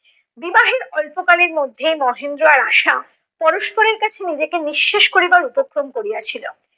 বিবাহের অল্পকালের মধ্যে মহেন্দ্র আর আশা পরস্পরের কাছে নিজেকে নিঃশেষ করিবার উপক্রম করিয়াছিল